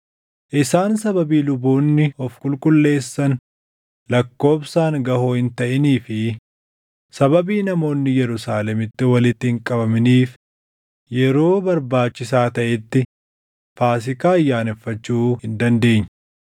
Isaan sababii luboonni of qulqulleessan lakkoobsaan gaʼoo hin taʼinii fi sababii namoonni Yerusaalemitti walitti hin qabaminiif yeroo barbaachisaa taʼetti Faasiikaa ayyaaneffachuu hin dandeenye.